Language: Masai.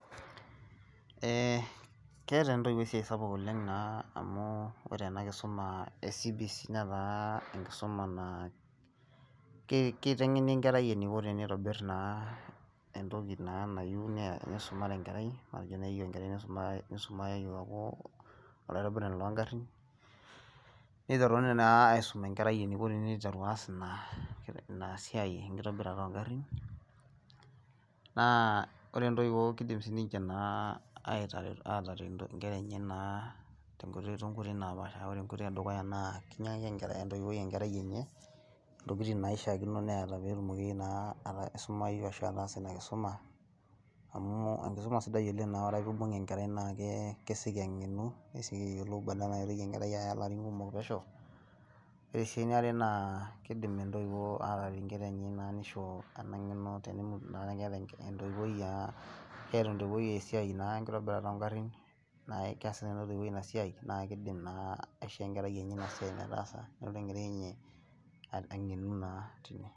ee keeta ntoiwuo esiai sapuk oleng, naa amu ore ena kisuma ee cbc netaa enkisuma naa keiteng'eni enkerai eneiko teneitobir entoki naa nayieu nisumare enkerai. matejo teneyieu enkerai nisumare aaku olaitobirani loogarin, niteruni naa aisum enkerai eniko teniteru aas ina siia enkitobirata oogarin. naa ore intoiwuo kidim naa sii ninche aataret nkera enye naa too nkoitoi napaasha. naa ore enkoitoi edukya naa kinyiang'aki entoiwuoi enkerai enye entokitin naishaa kino neeta pee etumoki naa aisumayu ashu ataasa ina kisumaamu enkisuma sidai oleng amu ore naa pee eibung enkerai naa kesioki ang'enu kesioki ayolou, badala naitoki enkerai aya larin kumok pesho. ore sii eniare naa kidim intoiwuo aataret inkera enye naa nisho ena ngeno tenemutu naa entoiwuoi aa keeta entoiwuoi esiai, naa enkitobirata oogarin, naa keas nena toiwuo ina siai naa keidim, naa aisho enkerai enye ina siai metaasa nelotu enkerai enye angenu naa tine.